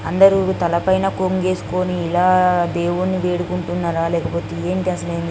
అందరూ తలపైన కొంగేసుకొని ఇలా దేవుని వేడుకుంటున్నారా లేకపోతే ఏంటి అసలు --